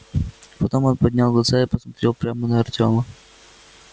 потом он поднял глаза и посмотрел прямо на артёма